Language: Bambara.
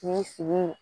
Ni fini